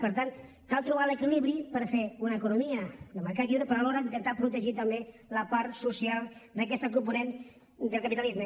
per tant cal trobar l’equilibri per fer una economia de mercat lliure però alhora intentar protegir també la part social d’aquest component del capitalisme